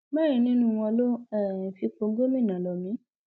mẹrin nínú wọn ló ń um fipò gómìnà lọ mí